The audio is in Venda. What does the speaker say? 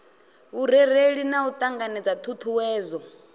vhurereli na u ṱanganedza ṱhuṱhuwedzo